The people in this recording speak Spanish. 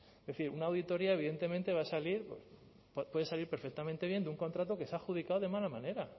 se hace es decir una auditoría evidentemente va a salir puede salir perfectamente bien de un contrato que se ha adjudicado de mala manera